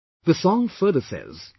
The song further says,